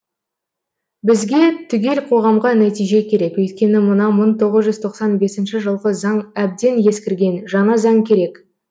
бізге түгел қоғамға нәтиже керек өйткені мына мың тоғыз жүз тоқсан бесінші жылғы заң әбден ескірген жаңа заң керек